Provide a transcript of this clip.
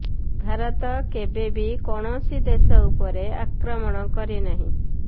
ଭାରତ କେବେ ବି କୌଣସି ଦେଶ ଉପରେ ଆକ୍ରମଣ କରି ନାହିଁ